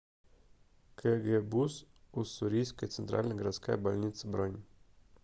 кгбуз уссурийская центральная городская больница бронь